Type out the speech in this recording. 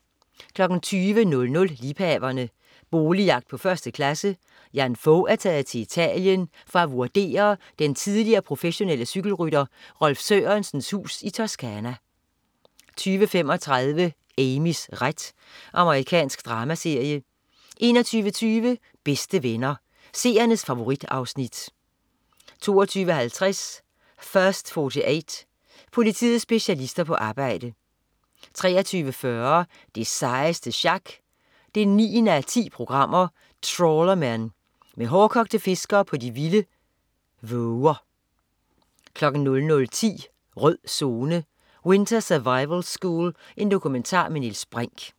20.00 Liebhaverne. Boligjagt på 1. klasse. Jan Fog er taget til Italien for at vurdere den tidligere professionelle cykelrytter Rolf Sørensens hus i Toscana 20.35 Amys ret. Amerikansk dramaserie 21.25 Bedste Venner. Seernes favorit-afsnit 22.50 First 48. Politiets specialister på arbejde 23.40 Det sejeste sjak 9:10. Trawlermen. Med hårdkogte fiskere på de vilde våger 00.10 Rød Zone: Winter survival school. Dokumentar med Niels Brinch